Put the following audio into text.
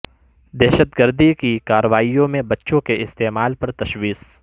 دہشت گردی کی کارروائیوں میں بچوں کے استعمال پر تشویش